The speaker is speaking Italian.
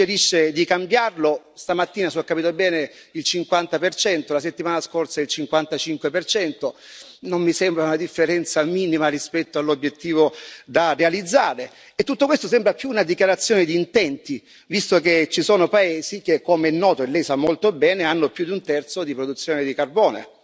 Lei suggerisce di cambiarlo, stamattina se ho capito bene il 50 la settimana scorsa il 55 non mi sembra una differenza minima rispetto all'obiettivo da realizzare e tutto questo sembra più una dichiarazione di intenti, visto che ci sono paesi che, come è noto, e Lei sa molto bene, hanno più di un terzo di produzione di carbone.